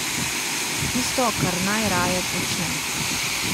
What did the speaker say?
Tisto, kar najraje počne.